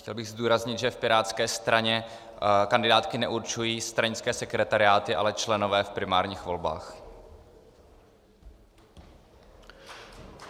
Chtěl bych zdůraznit, že v pirátské straně kandidátky neurčují stranické sekretariáty, ale členové v primárních volbách.